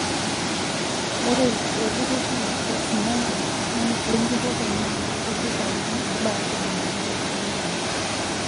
Ore olturur le HORTINLEA lenjurore nee iltururi sapuki obaya tomoni uni tolosho lekenya.